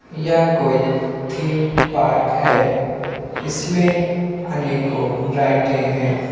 यह कोई theme park है इसमें अनेकों राइडें है।